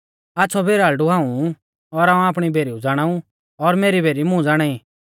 आच़्छ़ौ भेराल़ड़ु हाऊं ऊ और हाऊं आपणी भेरीऊ ज़ाणाऊ और मेरी भेरी मुं ज़ाणाई